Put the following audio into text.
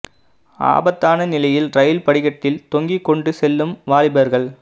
ஆபத்தான நிலையில் ரயில் படிக்கட்டில் தொங்கிக் கொண்டு செல்லும் வாலிபர்கள்